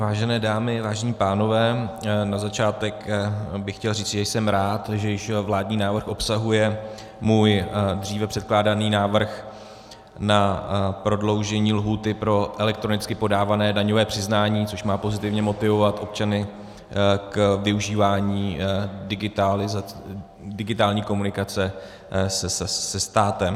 Vážené dámy, vážení pánové, na začátek bych chtěl říci, že jsem rád, že již vládní návrh obsahuje můj dříve předkládaný návrh na prodloužení lhůty pro elektronicky podávané daňové přiznání, což má pozitivně motivovat občany k využívání digitální komunikace se státem.